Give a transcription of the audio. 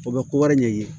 O bɛ kowari ɲɛɲini